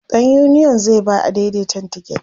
ɗan uniyon zai ba adaidaitan tiket